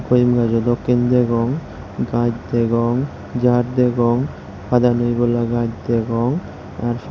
ghoeem gajo doke degong gaj degong jar degong haada ney bola gaj degong.